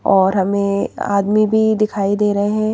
और हमें आदमी भी दिखाई दे रहें--